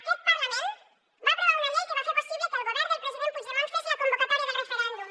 aquest parlament va aprovar una llei que va fer possible que el govern del president puigdemont fes la convocatòria del referèndum